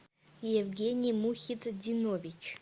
евгений мухитдинович